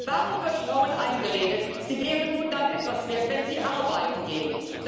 Warum wird Frauen eingeredet, sie wären nur dann etwas wert, wenn sie arbeiten gehen?